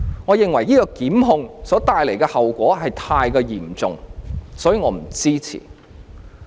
我認為這類檢控的後果非常嚴重，所以我不支持。